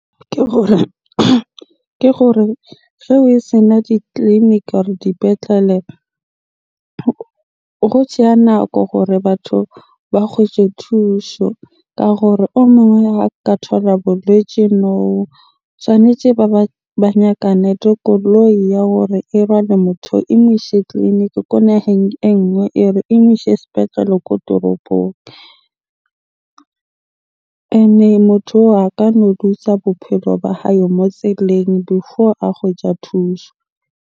Ke gore ge re sena ditleliniki or dipetlele tseya nako gore batho ba kgwetje thusho. Ka gore o mong ha ka thola boletje moo, tshwanetje ba ba nyakane le koloi ya hore e motho oo e mo ise tleliniki ko naheng e nngwe or e mo ishe sepetlele ko toropong. Ene motho oo a kano looser bophelo ba hae mo tseleng before a kgwetja thusho.